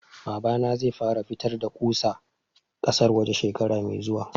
Babana zai fara fitar da ƙusa ƙasar waje shekara mai zuwa